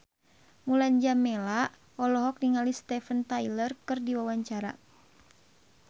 Mulan Jameela olohok ningali Steven Tyler keur diwawancara